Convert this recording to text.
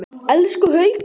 Elsku Haukur!